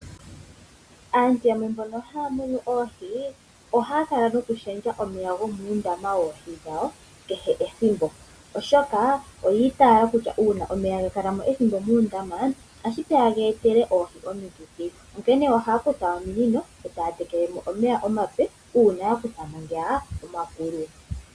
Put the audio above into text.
Aantu yamwe mbono haya munu oohi ohaya kala nokulundulula omeya gomuundama woohi dhawo kehe ethimbo, oshoka oya itayela kutya omeya ngele ga kala mo ethimbo muundama otashi vulika ga etele oohi omikithi, onkene ohaya kutha ominino e taya tekele mo omeya omape uuna ya kutha mo ngoka omakulu.